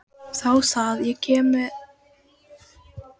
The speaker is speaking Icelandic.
Þá það, ég kem mér annarsstaðar fyrir.